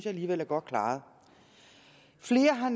alligevel er godt klaret flere har